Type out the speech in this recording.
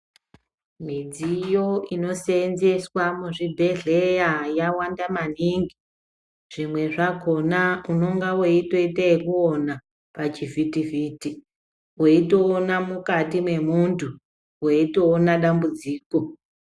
Midziyo inosenzeswa muzvibhedhleya yawanda maningi. Zvimwe zvakhona ungano wotoyite yekuwona pachivitiviti ,weyitowona mukati memuntu ,weyitowona dambudziko.